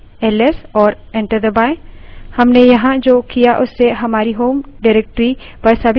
हमने यहाँ जो किया उससे हमारी home directory पर सभी files तथा folders दिखाई देंगे